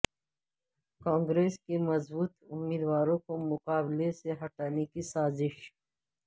کانگریس کے مضبوط امیدواروں کو مقابلہ سے ہٹانے کی سازش